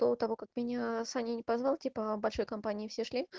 до того как меня саня не позвал типа большой компанией все шли